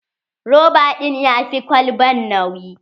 Roba ɗin ya fi ƙwalban nauyi.